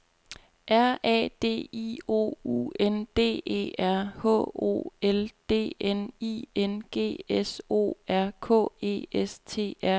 R A D I O U N D E R H O L D N I N G S O R K E S T R E T